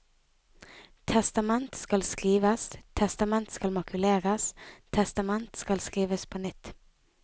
Testament skal skrives, testament skal makuleres, testament skal skrives på nytt.